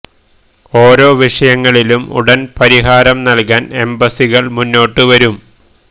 ഓരോ വിഷയങ്ങളിലും ഉടന് പരിഹാരം നല്കാന് എംബസികള് മുന്നോട്ട് വരും